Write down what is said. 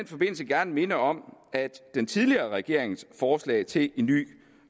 forbindelse gerne minde om at den tidligere regerings forslag til en ny